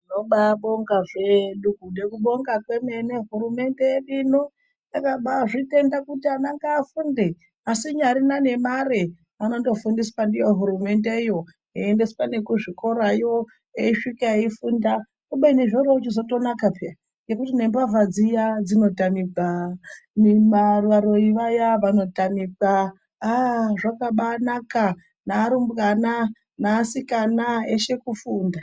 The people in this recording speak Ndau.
Tinobaibonga zvedu nekubonga kwemene hurumende yedu ino yakabaizvitenda kuti vana ngavafunde, vasina ngemari vanonofundiswa ndiyo hurumendeyo vachiendeswa nekuzvikora veisvika veifunda, komeni zvichitozonaka peya nekuti nembavha dziya dzinotanikwa, varoyi vaya vanotanikwa, aaa zvakambainaka, nevarumbwana nevasikana veshe kufunda.